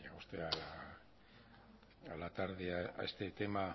un a la tarde a este tema a